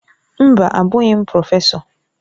Mba! Abụghị m prọfesọ.